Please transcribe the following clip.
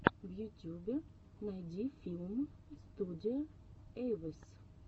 в ютюбе найди филм студио эйвэс